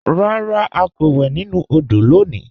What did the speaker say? Rárá, à kò wè nínu òdò lónì